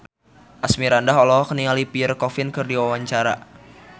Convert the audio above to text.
Asmirandah olohok ningali Pierre Coffin keur diwawancara